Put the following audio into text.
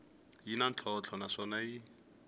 yi na ntlhontlho naswona yi